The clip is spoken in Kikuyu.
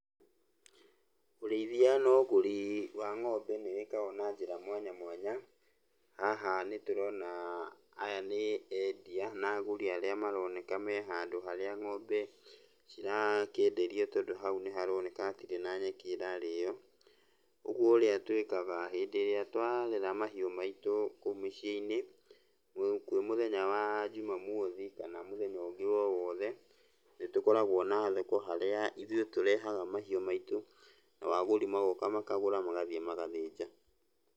Ũrĩithia na ũgũri wa ng'ombe nĩ wĩkagwo na njĩra mwanya mwanya. Haha nĩtũrona aya nĩ endia na agũri arĩa mararoneka me handũ harĩa ng'ombe cirakĩenderio, tondũ haũ nĩharoneka hatirĩ na nyeki ĩrarĩo, ũguo ũrĩa twĩkaga, hĩndĩ ĩrĩa twarera mahiũ maitũ kũu mĩciĩ-inĩ, kwĩ mũthenya wa Njumamothi kana mũthenya ũngĩ o wothe, nĩtũkoragwo na thoko harĩa ithuĩ tũrehaga mahiũ maitũ, nao agũri magoka makagũra magathiĩ magathĩnja.